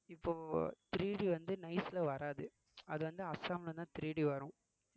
இப்போ 3D வந்து nice ல வராது அது வந்து அசாம்லதான் 3D வரும்